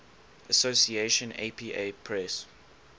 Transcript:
association apa press